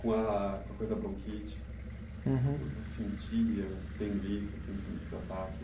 Com a coisa da bronquite. Uhum. O que você sentia tendo isso, sentindo esse ataque?